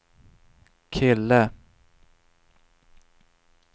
kille